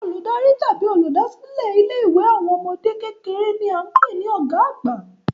Olùdarí tàbí oluda silẹ ilé ìwé àwọn ọmọdé kékeré ni a n pé ni ọ̀gá àgbà